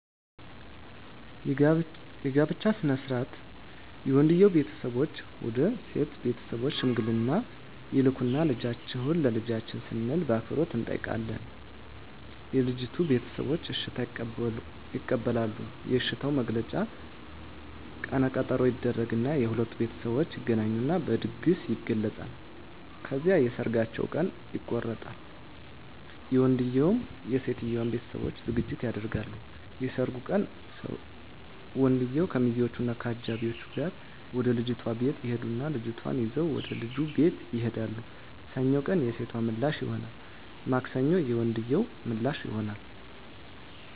የጋብቻ ሥነ ሥርዓት የወንድየዉ ቤተሰቦች ወደ ሴት ቤተሰቦች ሽምግልና ይልካሉ ልጃችሁን ለልጃችን ስንል በአክብሮት እንጠይቃለን የልጂቱ ቤተሰቦች እሽታ ይቀበላሉ የእሽታዉ መግለጫ ቀነ ቀጠሮ ይደረግ እና የሁለቱም ቤተሠቦች ይገናኙና በድግስ ይገለፃል። ከዚያም የሠርጋቸዉ ቀን ይቆረጣል የወንድየዉም የሴቶም ቤተሠቦች ዝግጅት ያደርጋሉ። የሠርጉ ቀን ወንድየዉ ከሚዚወች እና ከአጃቢወቹ ጋር ወደ ልጅቷ ቤት ይሄዳሉ ልጅቷን ይዘዉ ወደ ልጁ ቤት ይሄዳሉ። ሰኞ ቀን የሴቶ ምላሽ ይሆናል ማክሰኞ የወንድየዉ ምላሽ ይሆናል።